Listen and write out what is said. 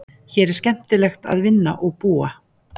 Hér er líka skemmtilegt að vinna og búa.